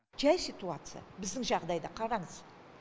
жай ситуация біздің жағдайда қараңыз